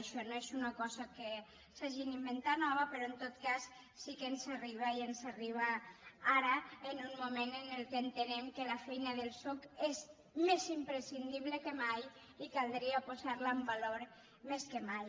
això no és una cosa que s’hagin inventat nova però en tot cas sí que ens arriba i ens arriba ara en un moment en què entenem que la feina del soc és més imprescindible que mai i caldria posar la en valor més que mai